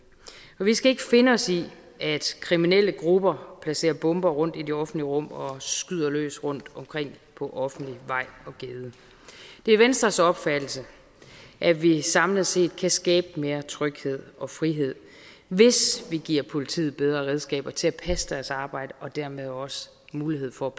vi skal ikke finde os i at kriminelle grupper placerer bomber rundtom i det offentlige rum og skyder løs rundtomkring på offentlig vej og gade det er venstres opfattelse at vi samlet set kan skabe mere tryghed og frihed hvis vi giver politiet bedre redskaber til at passe deres arbejde og dermed også mulighed for at